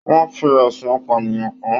Wọn fí ẹsùn apànìyàn kán.